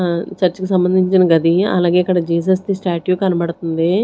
ఆ చర్చ్ కి సంబంధించిన గది అలాగే ఇక్కడ జీసస్ ది స్టాట్యూ కనబడుతుంది.